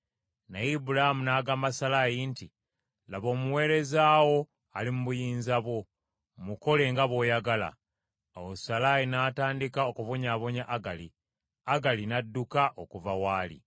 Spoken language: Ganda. Naye Ibulaamu n’agamba Salaayi nti, “Laba, omuweereza wo ali mu buyinza bwo; mukole nga bw’oyagala.” Awo Salaayi natandika okubonyaabonya Agali; Agali n’adduka okuva w’ali.